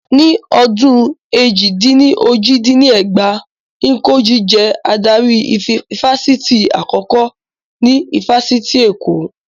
Ní ọdún èjì-dín-ní-ojì dín ní ẹgbàá, Njoku jẹ́ adarí ifásitì àkọ́kọ́ ní ifásitì Èkó